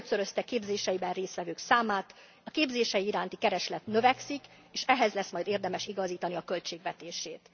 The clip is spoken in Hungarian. Megötszörözte a képzéseiben részt vevők számát, a képzései iránti kereslet növekszik, és ehhez lesz majd érdemes igazítani a költségvetését.